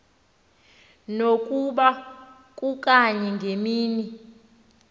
nokuba kukanye ngemini